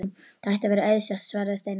Það ætti að vera auðsótt svaraði Steinunn.